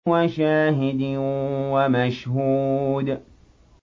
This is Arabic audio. وَشَاهِدٍ وَمَشْهُودٍ